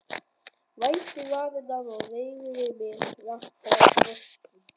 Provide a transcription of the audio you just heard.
Vætti varirnar og reigði mig, rak fram brjóstin.